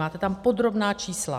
Máte tam podrobná čísla.